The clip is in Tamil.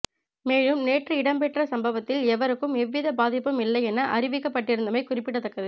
மேலும் நேற்று இடம்பெற்ற சம்பவத்தில் எவருக்கும் எவ்வித பாதிப்பும் இல்லை என அறிவிக்கப்பட்டிருந்தமை குறிப்பிடத்தக்கது